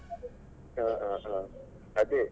ಹಾ ಹಾ ಹಾ ಅದೇ.